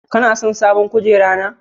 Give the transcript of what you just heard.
Ka son sabon kujera na?